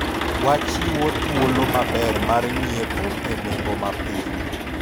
wachiwo thuolo maber mar nyiepo e nengo mapiny